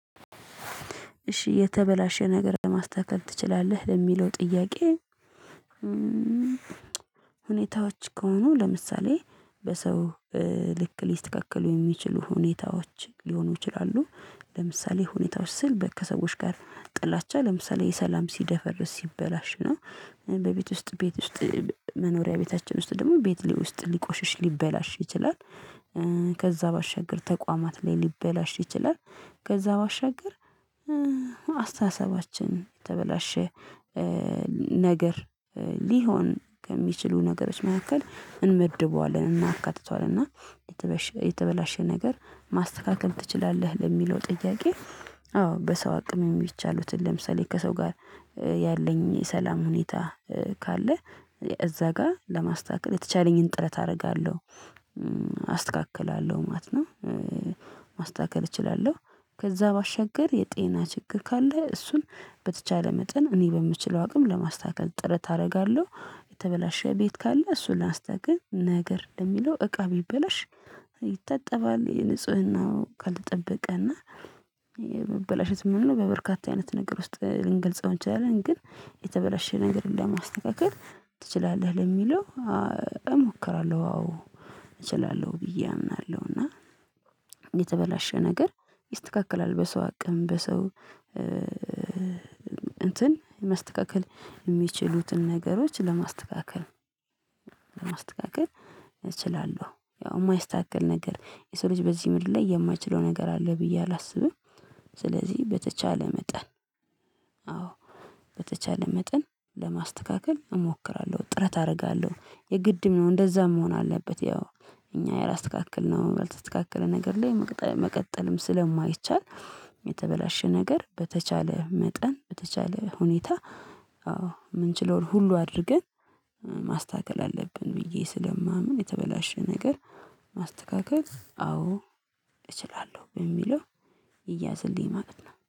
እሺ የተበላሸ ነገር ለማስተካከል ትችላለህ? ለሚለው ጥያቄ ሁኔታው ሁኔታዎች ከሆኑ ለምሳሌ በሰው ልክ ሊስተካከሉ የሚችሉ ሁኔታዎች ሊሆኑ ይችላሉ ለምሳሌ ሁኔታዎች ስል ከሰዎች ጋር ጥላቻ ለምሳሌ ሰላም ሲደፈርስ ሲበላሽ ነው በቤት ውስጥ ቤት ውስጥ መኖሪያ ቤታችን ውስጥ ደግሞ ቤት ሊቆሽሽ ሊበላሽ ይችላል ከዛ ባሻገር ተቋማት ላይ ሊበላሽ ይችላል ከዛ ባሻገር አስተሳሰባችን የተበላሸ ነገር ሊሆን ከሚችሉ ነገሮች መካከል እንመድበዋለን እናካትተዋለን እና የተበላሸ የተበላሸ ነገር ማስተካከል ትችላለህ ለሚለው ጥያቄ አዎ በሰው አቅም የሚቻሉትን ለምሳሌ ከሰው ጋር ያለኝ የሰላም ሁኔታ ካለ እዛ ጋር ለማስተካከል የተቻለኝን ጥረት አደርጋለሁ አስተካክላለሁ ማለት ነው ማስተካከል እችላለሁ ከዛ ባሻገር የጤና ችግር ካለ እሱን በተቻለ መጠን እኔ በምችለው አቅም ለማስተካከል ጥረት አደርጋለሁ የተበላሸ ቤት ካለ እሱን አስተካክል ነገር ለሚለው እቃ ቢበላሽ ይታጠባል የንጽህናው ካልተጠበቀ እና የሚበላሸ ምንድነው በበርካታ አይነት ነገር ውስጥ ልንገልጸው እንችላለን ግን የተበላሸ ነገር እንደማስተካከል ትችላለህ ለሚለው እሞክራለሁ አዎ እችላለሁ ብዬ አምናለሁ እና የተበላሸ ነገር ይስተካከላል በሰው አቅም በሰው እንትን የሚስተካከል የሚችሉትን ነገሮች ለማስተካከል ማስተካከል እችላለሁ ያው የማይስተካከል ነገር የሰው ልጅ በዚህ ምንድን ላይ የማይችለው ነገር አለ ብዬ አላስብም ስለዚህ በተቻለ መጠን አዎ በተቻለ መጠን ለማስተካከል እሞክራለሁ ጥረት አደርጋለሁ የግድም ነው እንደዛም መሆን አለበት ያው እኛ ያላስተካከልነው ያልተስተካከለ ነገር ላይ መቅጠል መቀጠልም ስለማይቻል የተበላሸ ነገር በተቻለ መጠን በተቻለ ሁኔታ አዎ የምንችለውን ሁሉ አድርገን ማስተካከል አለብን ብዬ ስለማምን የተበላሸ ነገር ማስተካከል አዎ እችላለሁ በሚለው ይያዝልኝ ማለት ነው